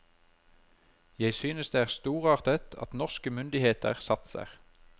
Jeg synes det er storartet at norske myndigheter satser.